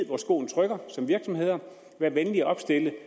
hvor skoen trykker vær venlig at opstille